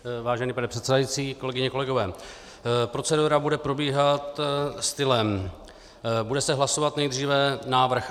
Vážený pane předsedající, kolegyně, kolegové, procedura bude probíhat stylem: Bude se hlasovat nejdříve návrh